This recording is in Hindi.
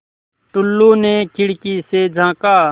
टुल्लु ने खिड़की से झाँका